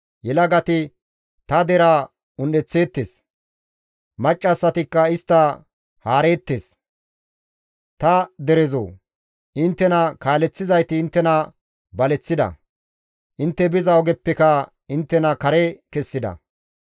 Yelagati ta deraa un7eththeettes; maccassatikka istta haareettes; Ta derezoo! Inttena kaaleththizayti inttena baleththida; intte biza ogeppeka inttena kare kessida.